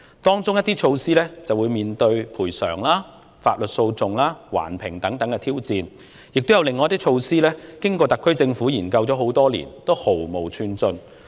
當中一些措施更會面對賠償、法律訴訟、環境評估等挑戰，亦有一些措施經過特區政府研究多年後仍然毫無寸進。